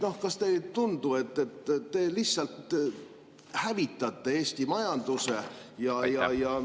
Kas teile ei tundu, et te lihtsalt hävitate Eesti majanduse ja …?